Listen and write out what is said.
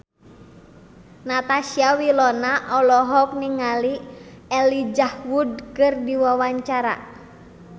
Natasha Wilona olohok ningali Elijah Wood keur diwawancara